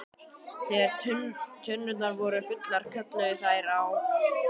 Þegar tunnurnar voru fullar kölluðu þær á HRING!